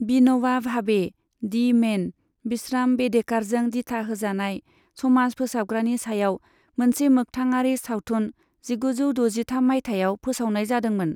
बिन'वा भावे, the man, विश्राम बेडेकारजों दिथा होजानाय समाज फोसाबग्रानि सायाव मोनसे मोख्थाङारि सावथुन जिगुजौ द'जिथाम मायथाइयाव फोसावनाय जादोंमोन।